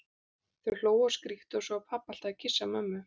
Þau hlógu og skríktu og svo var pabbi alltaf að kyssa mömmu.